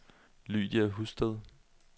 Lydia Husted